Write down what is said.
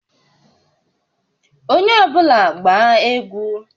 Onye ọ bụla gbaa egwu!